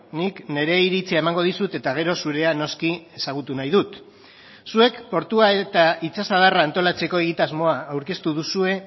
nik nire iritzia emango dizut eta gero zurea noski ezagutu nahi dut zuek portua eta itsasadarra antolatzeko egitasmoa aurkeztu duzue